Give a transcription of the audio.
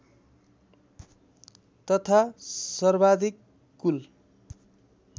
तथा सर्वाधिक कुल